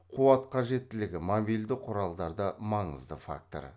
қуат қажеттілігі мобильді құралдарда маңызды фактор